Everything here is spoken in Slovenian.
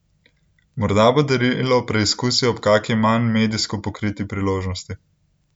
Morda bo darila preizkusil ob kaki manj medijsko pokriti priložnosti?